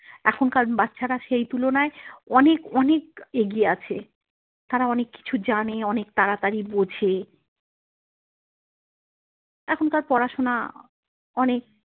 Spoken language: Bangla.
এখনকার বাচ্ছারা সেই তুলনায় অনেক অনেক এগিয়ে আছে তাঁরা অনেক কিছু জানে অনেক তাড়াতাড়ি বোঝে এখনকার পড়াশোনা অনেক।